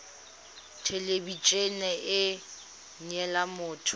thelebi ene e neela motho